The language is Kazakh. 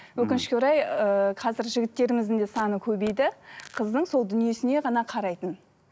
өкінішке орай ыыы қазір жігіттеріміздің де саны көбейді қыздың сол дүниесіне ғана қарайтын